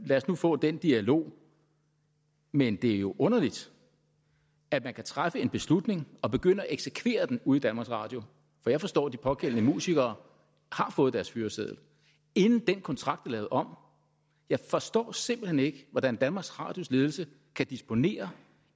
os nu få den dialog men det er jo underligt at man kan træffe en beslutning og begynde at eksekvere den ude i danmarks radio for jeg forstår at de pågældende musikere har fået deres fyreseddel inden den kontrakt er lavet om jeg forstår simpelt hen ikke hvordan danmarks radios ledelse kan disponere